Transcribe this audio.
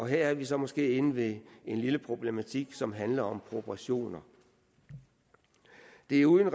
her er vi så måske inde ved en lille problematik som handler om proportioner det er uden